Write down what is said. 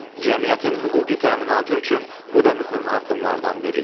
Cəmiyyətin hüquqi təminatı üçün bu da mühüm addımlardan biridir.